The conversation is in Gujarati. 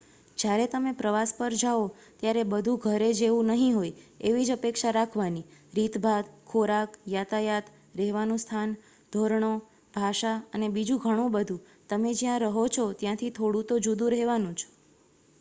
"જયારે તમે પ્રવાસ પર જાઓ ત્યારે બધું ''ઘર જેવું" નહિ હોય એવી જ અપેક્ષા રાખવાની. રીતભાત ખોરાક યાતાયાત રહેવાનું સ્થાન ધોરણો ભાષા અને બીજું ઘણું બધું તમે જ્યાં રહો છો ત્યાંથી થોડું તો જુદું રેહવાનુ જ.